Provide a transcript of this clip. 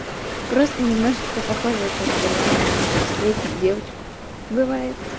просто немножечко похожее как бы на шестилетнюю девочку бывает